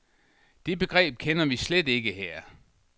Det begreb kender vi slet slet ikke her.